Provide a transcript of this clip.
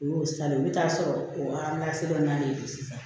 U y'o san i bi taa sɔrɔ o dɔ na na ne bolo sisan